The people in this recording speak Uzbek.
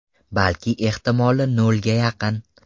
Balki ehtimoli nolga yaqin.